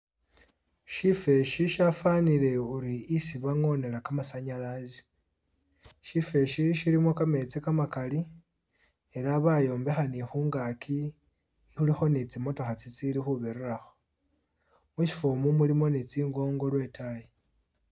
Syifwo eshi shafanile uri isi bangonela kamasanyalaze. shifo esi shilimo kametsi kamakaali ela bayombekha ni khungaki khulikho ni tsi motokha tsili ni' khubirirakho, mushifo omu mulimo ni tsingoongo lwe itaayi.